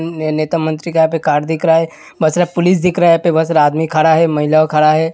नेता मंत्री का यहाँ पर कार दिख रहा है मतलब पुलिस दिख रहा है। यहाँ पर बहुत सारा आदमी खड़ा है महिला खड़ा है।